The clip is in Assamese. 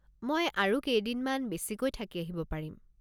মই আৰু কেইদিনমান বেছিকৈ থাকি আহিব পাৰিম।